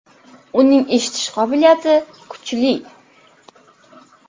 Uning eshitish qobiliyati kuchli.